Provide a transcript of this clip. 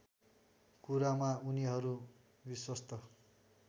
कुरामा उनीहरू विश्वस्त